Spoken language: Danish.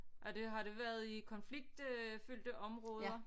Og det har det været i konflikt øh fyldte områder